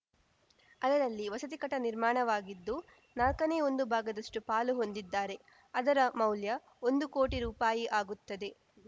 ಅದರಲ್ಲಿ ವಸತಿ ಕಟ್ಟಡ ನಿರ್ಮಾಣವಾಗಿದ್ದು ನಾಲ್ಕನೇ ಒಂದು ಭಾಗದಷ್ಟುಪಾಲು ಹೊಂದಿದ್ದಾರೆ ಅದರ ಮೌಲ್ಯ ಒಂದು ಕೋಟಿ ರೂಪಾಯಿ ಆಗುತ್ತದೆ